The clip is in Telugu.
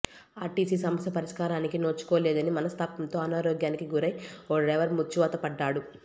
ఆర్టీసీ సమస్య పరిష్కారానికి నోచుకోలేదనే మనస్తాపంతో అనారోగ్యానికి గురై ఓ డ్రైవర్ మృత్యువాతపడ్డాడు